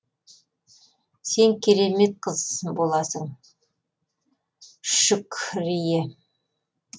сен керемет қыз боласың шүк крие